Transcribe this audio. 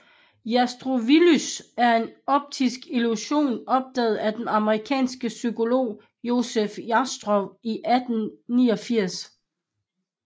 Jastrowillusionen er en optisk illusion opdaget af den amerikanske psykolog Joseph Jastrow i 1889